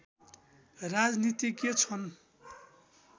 राजनीतिज्ञ छन्